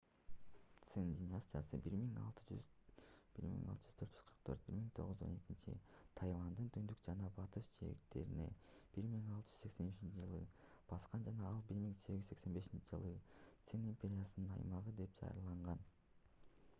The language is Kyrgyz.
цин династиясы 1644-1912 тайвандын түндүк жана батыш жээктерин 1683-жылы баскан жана ал 1885-жылы цин империясынын аймагы деп жарыяланган